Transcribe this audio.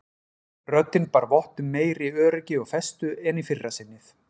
Röddin bar vott um meiri öryggi og festu en í fyrra sinnið.